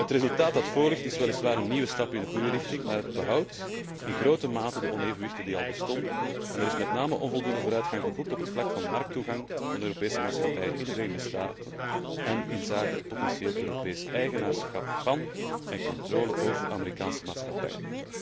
Het resultaat dat voorligt is weliswaar een nieuwe stap in de goede richting, maar het behoudt in grote mate de onevenwichtigheden die al bestonden en er is met name onvoldoende vooruitgang geboekt op het vlak van markttoegang van de Europese maatschappijen in de Verenigde Staten en inzake het potentieel Europees eigenaarschap van en controle over Amerikaanse maatschappijen.